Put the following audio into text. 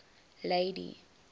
lady